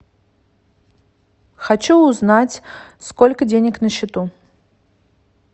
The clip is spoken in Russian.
хочу узнать сколько денег на счету